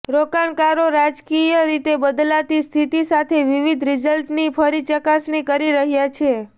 રોકાણકારો રાજકીય રીતે બદલાતી સ્થિતિ સાથે વિવિધ રિઝલ્ટની ફરી ચકાસણી કરી રહ્યા છે